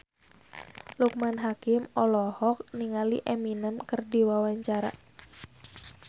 Loekman Hakim olohok ningali Eminem keur diwawancara